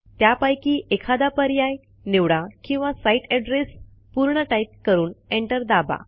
त्यापैकी एखादा पर्याय निवडा किंवा सीते addressपूर्ण टाईप करून एंटर दाबा